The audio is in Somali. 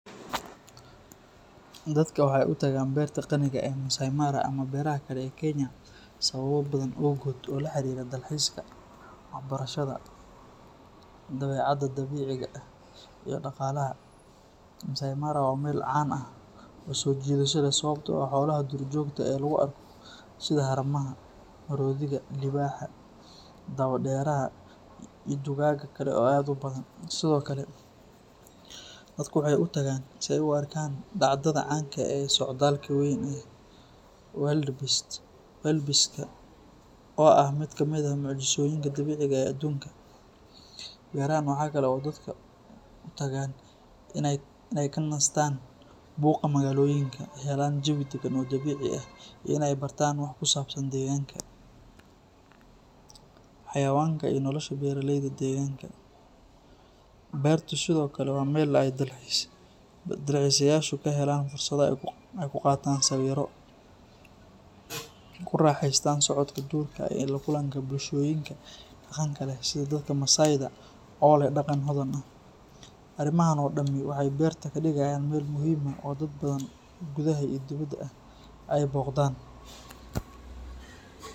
Dadka waxay u tagaan Beerta Qaniga ah ee Masai Mara ama beeraha kale ee Kenya sababo badan awgood oo la xiriira dalxiiska, waxbarashada, dabeecadda dabiiciga ah, iyo dhaqaalaha. Masai Mara waa meel caan ah oo soo jiidasho leh sababtoo ah xoolaha duurjoogta ah ee lagu arko sida haramaha, maroodiga, libaaxa, dabo-dheeraha iyo dugaagga kale oo aad u badan. Sidoo kale, dadku waxay u tagaan si ay u arkaan dhacdada caanka ah ee socdaalka weyn ee wildebeest-ka oo ah mid ka mid ah mucjisooyinka dabiiciga ah ee adduunka. Beerahan waxaa kale oo dadka u tagaan inay ka nastaan buuqa magaalooyinka, helaan jawi deggan oo dabiici ah, iyo inay bartaan wax ku saabsan deegaanka, xayawaanka iyo nolosha beeraleyda deegaanka. Beertu sidoo kale waa meel ay dalxiisayaashu ka helaan fursado ay ku qaataan sawirro, ku raaxaystaan socodka duurka iyo la kulanka bulshooyinka dhaqanka leh sida dadka Maasai-da oo leh dhaqan hodan ah. Arrimahan oo dhami waxay beerta ka dhigayaan meel muhiim ah oo dad badan oo gudaha iyo dibadda ah ay booqdaan.